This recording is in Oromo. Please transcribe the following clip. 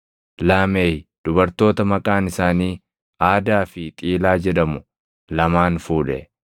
Laameh dubartoota maqaan isaanii Aadaa fi Xiilaa jedhamu lamaan fuudhe.